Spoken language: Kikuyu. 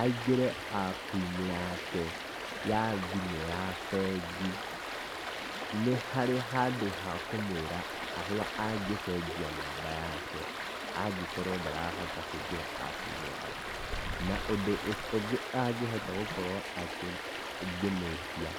Aingĩre app -inĩ yake, ya thimũ ya bengi. Nĩ harĩ handũ ha kũmwĩra harĩa angĩcenjia namba yake, angĩkorwo ndarahota kũingĩra app -inĩ yake. Na ũndũ ũngĩ angĩhota gũkorwo akĩ ngĩmwĩtia,